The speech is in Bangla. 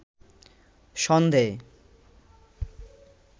সন্ধেয়